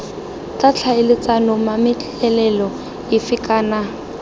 tla tlhaeletsana mametlelelo efe kana